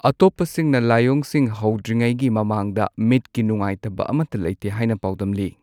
ꯑꯇꯣꯞꯄꯁꯤꯡꯅ ꯂꯥꯏꯑꯣꯡꯁꯤꯡ ꯍꯧꯗ꯭ꯔꯤꯉꯩꯒꯤ ꯃꯃꯥꯡꯗ ꯃꯤꯠꯀꯤ ꯅꯨꯡꯉꯥꯢꯇꯕ ꯑꯃꯠꯇ ꯂꯩꯇꯦ ꯍꯥꯏꯅ ꯄꯥꯎꯗꯝꯂꯤ꯫